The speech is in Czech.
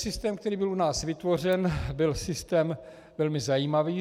Systém, který byl u nás vytvořen, byl systém velmi zajímavý.